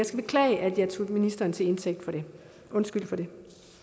beklage at jeg tog ministeren til indtægt for det undskyld for det